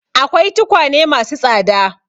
Akwai tukwane ma su tsada.